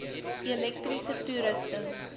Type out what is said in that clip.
elektriese toerusting